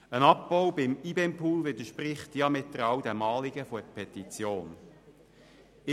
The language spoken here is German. Ein Abbau beim IBEM-Pool widerspricht dem Anliegen der Petition diametral.